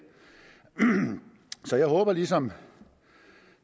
så jeg håber ligesom